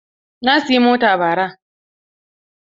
Na siyi mota bara.